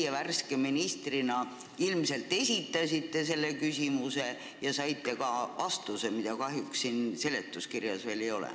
Teie värske ministrina ilmselt samuti esitasite selle küsimuse ja saite ka vastuse, mida kahjuks siin seletuskirjas ei ole.